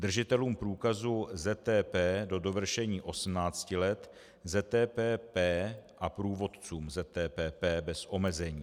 Držitelům průkazu ZTP do dovršení 18 let, ZTPP a průvodcům ZTPP bez omezení.